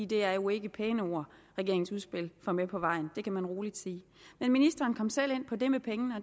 det er jo ikke pæne ord regeringens udspil får med på vejen det kan man roligt sige ministeren kom selv ind på det med pengene og